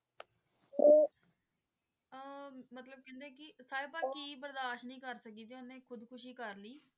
ਆਹ ਮਤਲਬ ਕਿ ਕਹਿੰਦੇ ਕਿ ਸਾਹਿਬਾ ਬਰਦਾਸ਼ ਨਹੀਂ ਕਰ ਸਕੀ ਤੇ ਓਹਨੇ ਖੁਦਖੁਸ਼ੀ ਕਰਲੀ।